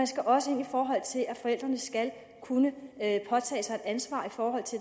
skal også ind i forhold til at forældrene skal kunne påtage sig et ansvar for